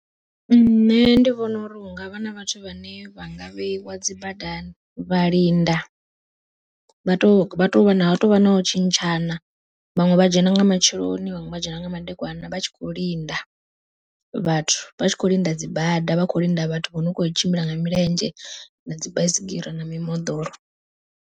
Nṋe ndi vhona uri hungavha na vhathu vhane vha nga vheiwa dzi badani, vha linda vha to vha tovha nau tshintshana vhaṅwe vha dzhena nga matsheloni, vhaṅwe vha dzhena nga madekwana vha tshi kho linda, vhathu vha tshi kho linda dzi bada vha kho linda vhathu vho no kho tshimbila nga milenzhe na dzi baisigira na mimoḓoro.